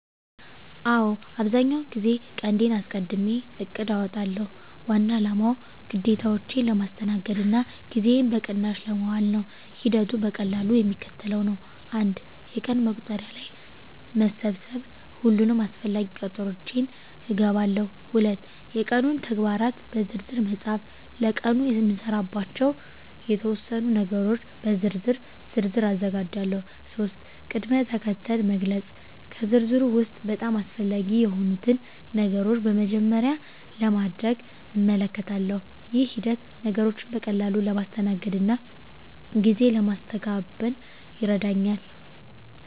አዎ፣ አብዛኛውን ጊዜ ቀንዴን አስቀድሜ እቅድ አውጣለሁ። ዋና አላማው ግዴታዎቼን ለማስተናገድ እና ጊዜዬን በቅናሽ ለማዋል ነው። ሂደቱ በቀላሉ የሚከተለው ነው፦ 1. የቀን መቁጠሪያ ላይ መሰብሰብ ሁሉንም አስፈላጊ ቀጠሮዎቼን እገባለሁ። 2. የቀኑን ተግባራት በዝርዝር መፃፍ ለቀኑ የምሰራባቸውን የተወሰኑ ነገሮች በዝርዝር ዝርዝር አዘጋጃለሁ። 3. ቅድም-ተከተል መግለጽ ከዝርዝሩ ውስጥ በጣም አስፈላጊ የሆኑትን ነገሮች በመጀመሪያ ለማድረግ እመልከታለሁ። ይህ ሂደት ነገሮችን በቀላሉ ለማስተናገድ እና ጊዜ ለማስተጋበን ይረዳኛል።